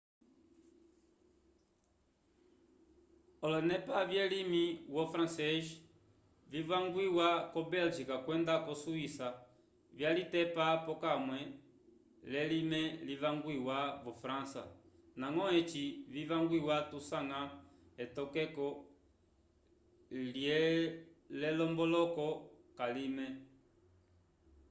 olonepa vyelimi wo francês vivangwiwa ko bélgica kwenda ko swíça vyalitepa pokamwe lelime livangwiwa vo frança ndañgo eci vivangwiwa tusanga etokeko l'elomboloko k'alime